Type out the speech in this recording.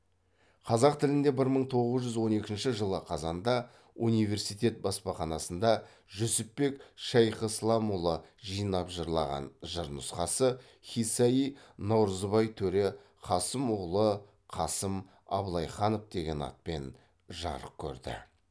қазақ тілінде бір мың тоғыз жүз он екінші жылы қазанда университет баспаханасында жүсіпбек шайхисыламұлы жинап жырлаған жыр нұсқасы қисса и наурызбай төре қасым уғлы қасым абылайханов деген атпен жарық көрді